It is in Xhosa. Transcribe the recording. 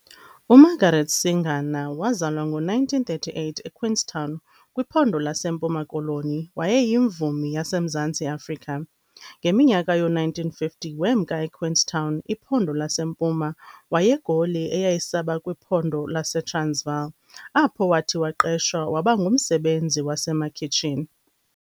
UMargaret Singana wazalwa ngo1938 eQueenstown, kwiPhondo laseMpuma-Koloniwayeyimvumi yaseMzantsi Afrika. Ngeminyaka yo1950, wemka eQueenstown, iPhondo laseMpuma waye eGoli eyayisaya kuba kwiPhondo laseTransvaal, apho wathi waqeshwa waba ngumsebenzi wasemakhitshini.